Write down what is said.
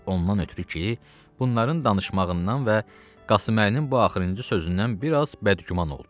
Ondan ötrü ki, bunların danışmağından və Qasıməlinin bu axırıncı sözündən biraz bədgüman oldu.